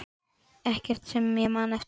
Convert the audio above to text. Ekkert sem ég man eftir.